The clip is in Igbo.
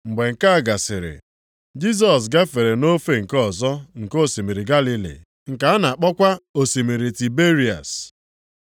Mgbe nke a gasịrị, Jisọs gafere nʼofe nke ọzọ nke osimiri Galili (nke a na-akpọkwa osimiri Tiberịas).